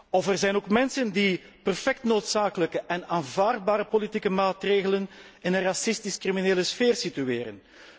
Of er zijn ook mensen die perfect noodzakelijke en aanvaardbare politieke maatregelen in een racistisch criminele sfeer situeren.